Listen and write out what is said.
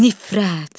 Nifrət!